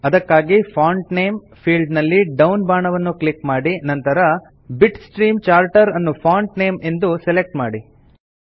ಅದಕ್ಕಾಗಿ font name field ನಲ್ಲಿ down ಬಾಣವನ್ನು ಕ್ಲಿಕ್ ಮಾಡಿ ನಂತರ ಬಿಟ್ಸ್ಟ್ರೀಮ್ ಚಾರ್ಟರ್ ಅನ್ನು ಫಾಂಟ್ ನೇಮ್ ಎಂದು ಸೆಲೆಕ್ಟ್ ಮಾಡಿ